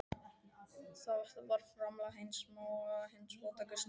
Þetta var framlag hins smáa, hins fátæka og snauða.